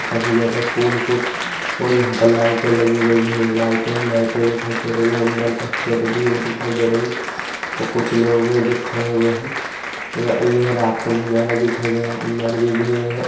काफी ज्यादा फूल ही फूल और यहां पे लाइटे लगी गई है लाइटे ही लाइटे दिखाई दे यहां अंदर काफी ज्यादा भीड़ दिखाई दे रही और कुछ लोग है जो खड़े हुए है और यह रात का नजारा दिखाई दे रहा अंदर भी भीड़ है।